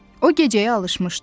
O gecəyə alışmışdı.